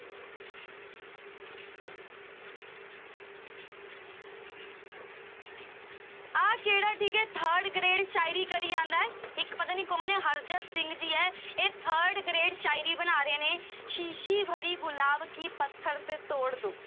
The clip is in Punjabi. ਆਹ ਕਿਹੜਾ ਠੀਕ ਹੈ third grade ਸਾਇਰੀ ਕਰੀ ਜਾਂਦਾ ਹੈ, ਇੱਕ ਪਤਾ ਨੀ ਕੌਣ ਹੈ ਹਰਜਤ ਸਿੰਘ ਜੀ ਹੈ ਇਹ third grade ਸਾਇਰੀ ਬਣਾ ਰਹੇ ਨੇ, ਸੀਸੀ ਭਰੀ ਗੁਲਾਬ ਕੀ ਪੱਥਰ ਸੇ ਤੋੜ ਦਓ